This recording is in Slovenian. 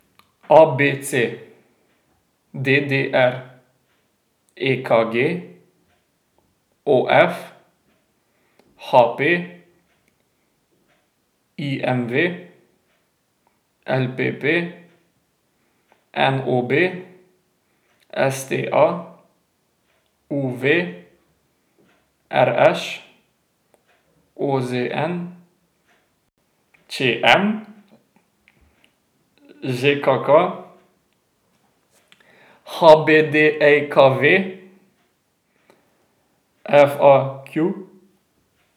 A B C; D D R; E K G; O F; H P; I M V; L P P; N O B; S T A; U V; R Š; O Z N; Č M; Z K K; H B D J K V; F A Q.